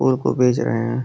फूल को बेच रहे हैं।